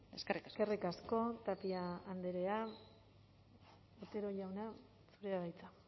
eskerrik asko eskerrik asko tapia andrea otero jauna zurea da hitza